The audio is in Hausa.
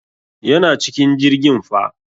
Yana cikin jirgin fa.